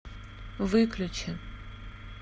выключи